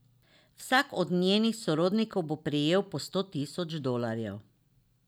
Vsak od njenih sorodnikov bo prejel po sto tisoč dolarjev.